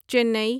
Chennai